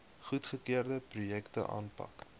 goedgekeurde projekte aanpak